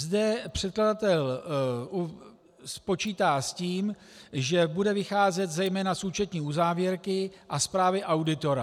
Zde předkladatel počítá s tím, že bude vycházet zejména z účetní uzávěrky a zprávy auditora.